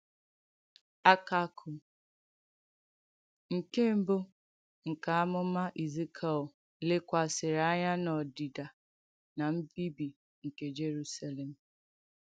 Àkàkụ̀ nke mbù nke àmùmà Èzìkièl lèkwàsìrì ànyà n’òdìdà nà mbìbì nke Jèrùsàlèm.